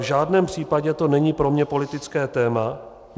V žádném případě to není pro mě politické téma.